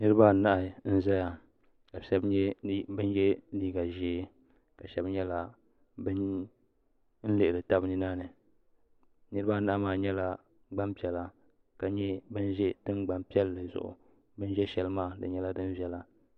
Niribaanahi n zaya ka shɛbi yɛ liiva zee shɛbi nyɛla ban lihiri tabi ninani niri baa nahi nyɛla gban piɛla ka nyɛ ban ze tingban piɛli zuɣu bin ze shɛlmaa di nyɛla din viɛla